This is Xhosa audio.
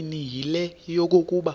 eyesibini yile yokokuba